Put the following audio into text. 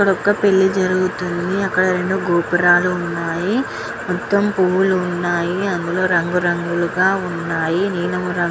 ఇక్కడ ఒక పెళ్లి జరుగుతుంది. అక్కడ రెండు గోపురాళ్ళు ఉన్నాయ్. మొత్తం పువుల్లు వున్నాయి. అందులో రంగు రంగులు గా వున్నాయ్. నీలం రంగు --